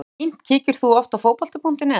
fínt Kíkir þú oft á Fótbolti.net?